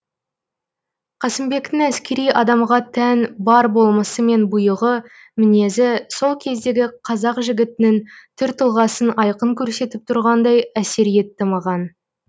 қасымбектің әскери адамға тән бар болмысы мен бұйығы мінезі сол кездегі қазақ жігітінің түр тұлғасын айқын көрсетіп тұрғандай әсер етті маған